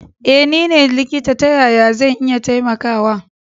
Eh nine likita ta yaya zan iya taimakawa.